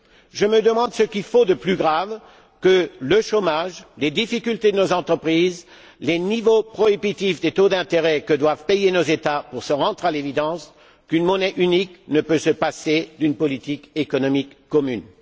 Je me demande ce qu'il faut de plus grave que le chômage, les difficultés de nos entreprises, les niveaux prohibitifs des taux d'intérêt que doivent payer nos États pour se rendre à l'évidence qu'une monnaie unique ne peut se passer d'une politique économique commune.